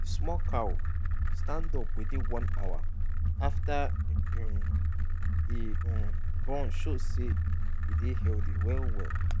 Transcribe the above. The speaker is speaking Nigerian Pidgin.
the small cow stand up within one hour after um e um born show say e dey healthy well well.